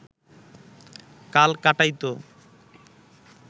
কাল কাটাইত